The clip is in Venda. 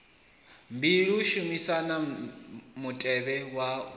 mbili shumisani mutevhe wa u